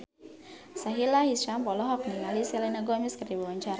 Sahila Hisyam olohok ningali Selena Gomez keur diwawancara